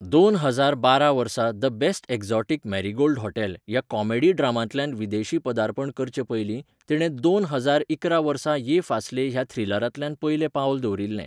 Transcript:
दोन हजार बारा वर्सा the best exotic marigold hotel ह्या कॉमेडी ड्रामांतल्यान विदेशी पदार्पण करचे पयलीं तिणे दोन हजार इकरा वर्सा ये फासले ह्या थ्रिलरांतल्यान पयलें पावल दवरिल्लें.